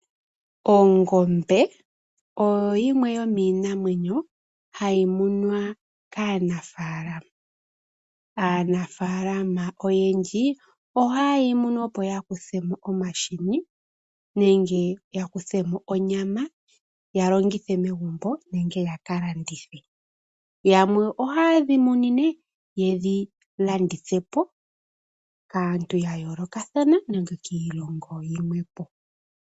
Ongombe oyo yimwe yomiinamwenyo hayi munwa kaanafaalama. Aanafaalama oyendji oha yeyi munu opo yakuthmo omahini nenge yakuthemo onyama ya longithe megumbo nenge ya kalandithe. Yamwe oha yedhi munu yedhi landithepo kaantu ya yoolokathana nenge kiilongo yilwe.